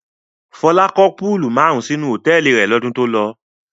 Fọlá kọ́ púúlù márùn-ún sínú hòtẹ́ẹ́lì rẹ̀ lọ́dún tó lọ.